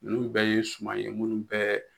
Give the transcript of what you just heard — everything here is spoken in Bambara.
Nunnu bɛɛ ye suma ye munnu bɛ